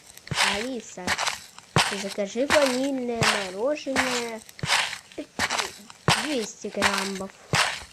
алиса закажи ванильное мороженое двести граммов